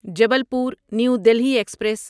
Jabalpur new Delhi express